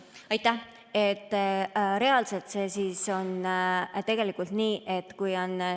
Aitäh!